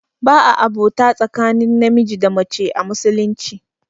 Ba a abota tsakanin namiji da mace a musulunci